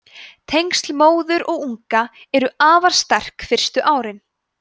tengsl móður og unga eru afar sterk fyrstu árin